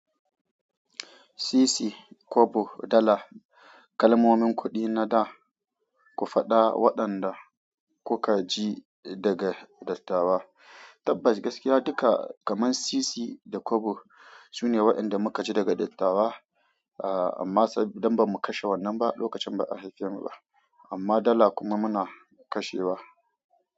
Sisi, kobo, dala, kalmomin kuɗi na da ku faɗa waɗanda kuka ji daga dattawa. Tabbas gaskiya duka, kamar sisi da kobo sune waɗanda muka ji daga dattawa, amma sai idan ba mu kashe wannan ba lokacin ba a haifen mu ba, amma dala kuma muna kashewa.